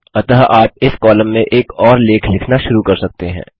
अतः आप इस कॉलम में एक और लेख लिखना शुरू कर सकते हैं